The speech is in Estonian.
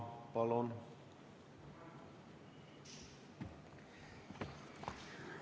Palun!